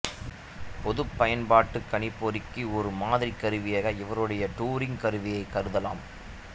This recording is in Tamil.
பொதுப் பயன்பாட்டு கணிப்பொறிக்கு ஒரு மாதிரி கருவியாக இவருடைய டூரிங் கருவியைக் கருதலாம்